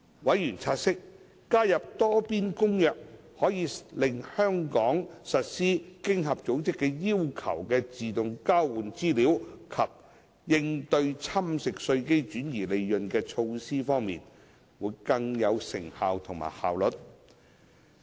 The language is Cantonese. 委員察悉，加入《多邊公約》可使香港在實施經合組織要求的自動交換資料及應對侵蝕稅基及轉移利潤的措施方面，更有成效及效率。